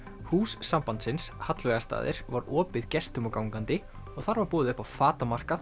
hús sambandsins var opið gestum og gangandi og þar var boðið upp á